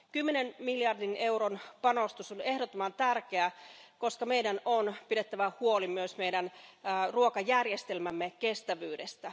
Kymmenen miljardin euron panostus on ehdottoman tärkeä, koska meidän on pidettävä huolta myös ruokajärjestelmämme kestävyydestä.